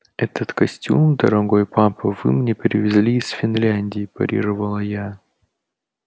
этот костюм дорогой папа вы мне привезли из финляндии парировала я